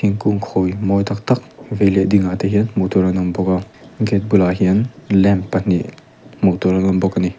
thingkung khawi mawi tak tak vei leh dingah te hian hmuh tur an awm bawk a gate bulah hian lamp pahnih hmuh tur an awm bawk a ni.